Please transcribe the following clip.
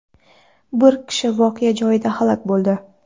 Bir kishi voqea joyida halok bo‘ldi.